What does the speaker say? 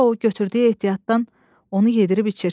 Sonra o götürdüyü ehtiyatdan onu yedirib içirtdi.